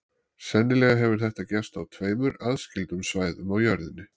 Sennilega hefur þetta gerst á tveimur aðskildum svæðum á jörðinni.